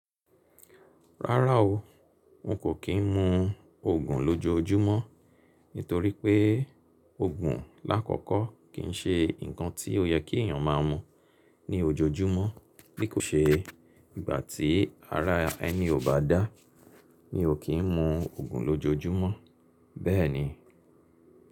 Rárá o, n kò kín mú oògùn lójojúmọ́ nítorí pé oògùn lákọkọ kì ń ṣe nǹkan tí ó yẹ kí èyàn máa mú ní ojoojúmọ́. Bí kò ṣe ìgbà tí ara ẹni ò bá dá mí o kín mú oògùn lójoojúmọ́ bẹ́ẹ̀ni.